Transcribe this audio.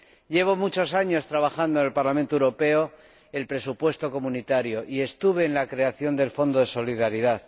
Llevo muchos años trabajando en el Parlamento Europeo ―en el presupuesto comunitario― y participé en la creación del Fondo de Solidaridad.